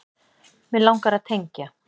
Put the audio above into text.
Mig langar að tengja.